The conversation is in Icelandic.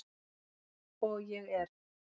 Og ég er.